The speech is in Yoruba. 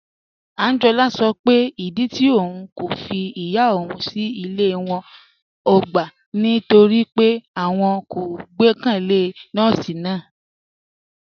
Ànjọ́lá sọ pé ìdí tì ọ̀un kò fí ìyá ọ̀un sí ilẹ̀ àwọn ọ̀gbá ni nítorí pé ọ̀un kò gbẹkẹlé nọọ̀sí náà